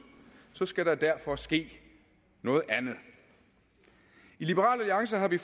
skal der derfor ske noget andet i liberal alliance har vi